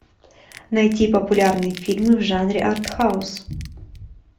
найти популярные фильмы в жанре артхаус